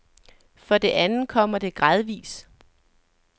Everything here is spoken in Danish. For det andet kommer det gradvis.